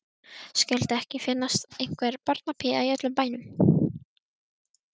Skyldi ekki finnast einhver barnapía í öllum bænum.